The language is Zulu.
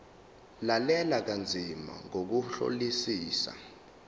lalela kanzima ngokuhlolisisa